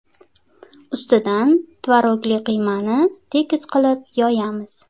Ustidan tvorogli qiymani tekis qilib yoyamiz.